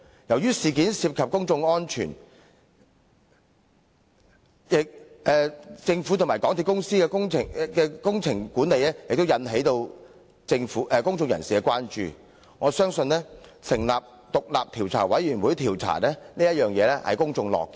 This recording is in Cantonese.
由於事件涉及公眾安全，政府和港鐵公司的工程管理亦引起了公眾關注，我相信成立調查委員會調查切合公眾的期望。